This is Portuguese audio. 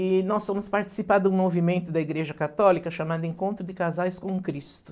E nós fomos participar de um movimento da Igreja Católica chamado Encontro de Casais com Cristo.